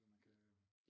Til at man kan